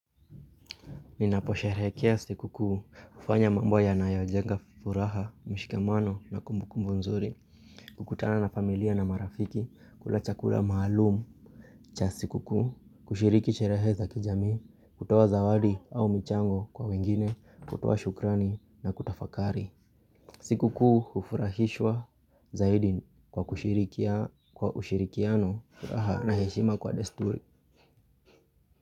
Ninaposherehekea siku kuu hufanya mambo yanayojenga furaha mshikamano na kumbuku mzuri kukutana na familia na marafiki kula chakula maalum cha siku kuu, kushiriki sherehe za kijamii kutoa zawadi au michango kwa wengine kutoa shukrani na kutafakari siku kuu hufurahishwa zaidi kwa kushirikiano furaha na heshima kwa desturi.